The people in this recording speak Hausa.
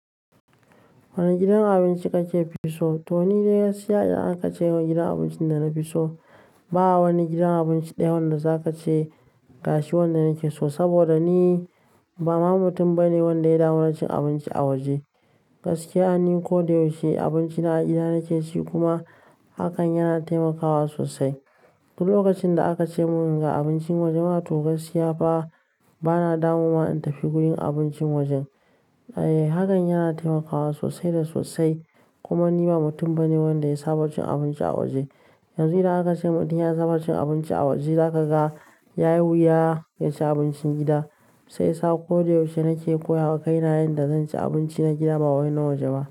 Wani gidan abinci kake fi so? Toh ni dai gaskiya idan aka ce ga gidan abincin da na fi so, ba a wani gidan abinci daya wanda za ka ce gashi wanda nake so. Saboda ni ba ma mutum bane wanda ya damu wuracin abinci a waje. Gaskiya, ni ko da yaushe abincin na a gida nake ci kuma hakan yana taimakawa sosai. Duk lokacin da aka ce mun ga abincin waje, matu gaskiya fa bana damuwa in tafi gurin abincin wajen. Eh hakan yana taimakawa sosai da sosai. Kuma ni ba mutum bane wanda ya saba cin abinci a waje. Yanzu idan aka ce mutum ya saba cin abinci a waje, za ka ga yayi wuya ya ci abincin gida. Shi yasa ko da yaushe nake koya hakaina yadda zan ci abinci na gida ba wani na waje ba.